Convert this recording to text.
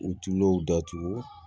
U tulo datugu